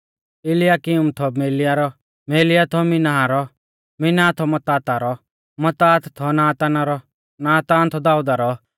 इलियाकीम थौ मेलिया रौ मेलिया थौ मिन्नाह रौ मिन्नाह थौ मत्ताता रौ मत्तात थौ नाताना रौ नातान थौ दाऊदा रौ